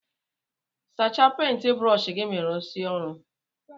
Sacha penti brọsh gi ma irụsie ọrụ.